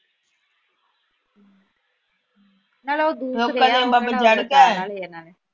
ਨਾਲੇ ਉਹ ਦੂਰ